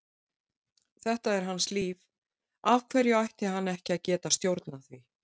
Þetta er hans líf, af hverju ætti hann ekki að geta stjórnað því?